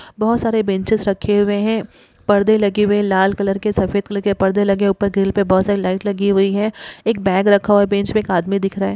बोहोत सारे बेंचेस रखे हुए हैं। परदे लगे हुए हैं लाल कलर के सफ़ेद कलर के परदे लगे। ऊपर ग्रिल पे बोहोत सारी लाइट लगी हुई हैं। एक बैग रखा हुआ है बेंच पे। एक आदमी दिख रहा है।